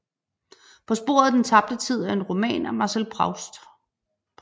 På sporet af den tabte tid er en roman af Marcel Proust